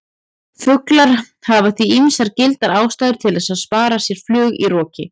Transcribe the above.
Fuglar hafa því ýmsar gildar ástæður til að spara sér flug í roki!